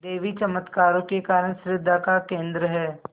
देवी चमत्कारों के कारण श्रद्धा का केन्द्र है